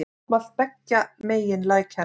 Mótmælt beggja megin lækjar